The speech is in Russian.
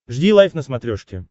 жди лайв на смотрешке